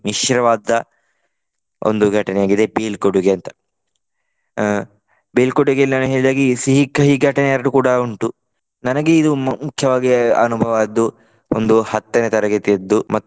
ಮಿಶ್ರವಾದ ಒಂದು ಘಟನೆ ಆಗಿದೆ ಬೀಳ್ಕೊಡುಗೆ ಅಂತ. ಅಹ್ ಬೀಳ್ಕೊಡುಗೆಯಲ್ಲಿ ನಾನು ಹೇಳಿದ ಹಾಗೆ ಈ ಸಿಹಿ-ಕಹಿ ಘಟನೆ ಎರಡು ಕೂಡ ಉಂಟು. ನನಗೆ ಇದು ಮುಖ್ಯವಾಗಿ ಅನುಭವವಾದ್ದು ಒಂದು ಹತ್ತನೇ ತರಗತಿಯದ್ದು.